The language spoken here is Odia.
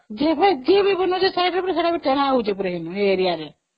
ଯେବେ ଯିଏ ବ ଯାହା ବଣୁଛି ସବୁ ଚଢା ହେଉଛି ସେ area ରେ